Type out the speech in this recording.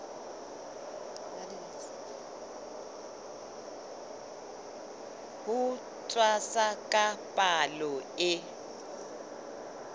ho tshwasa ka palo e